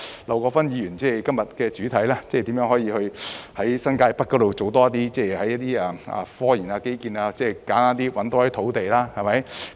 劉國勳議員今天這項議案的主題，正是如何在新界北多做科研及基建的工作。